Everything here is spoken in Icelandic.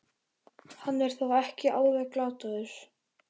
Hann er þá ekki alveg glataður!